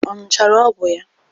Ọ ṅụchara ọgwụ ya?